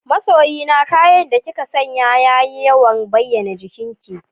Masoyi na, kayan da kika sanya ya yawan bayyana jikinki